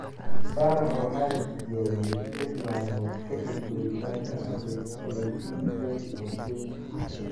Faarax waxa la tijaabiyey lix maalmood kadib duritaanka - Abriil 17, 2014.